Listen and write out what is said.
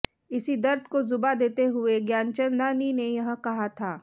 इसी दर्द को जुबां देते हुए ज्ञानचंदानी ने यह कहा था